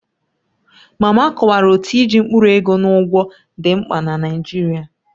Mama kọwara otú iji mkpụrụ ego na ụgwọ dị mkpa na Naijiria